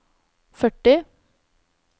førti